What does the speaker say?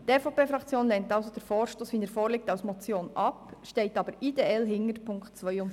Die EVP-Fraktion lehnt somit den Vorstoss in der vorliegenden Form der Motion ab, steht aber ideell hinter den Punkten 2 und 3.